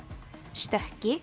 stökki